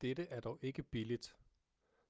dette er dog ikke billigt